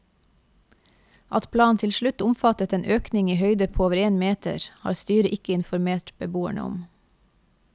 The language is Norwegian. At planen til slutt omfattet en økning i høyde på over én meter, har styret ikke informert beboerne om.